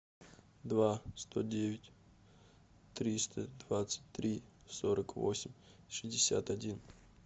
два сто девять триста двадцать три сорок восемь шестьдесят один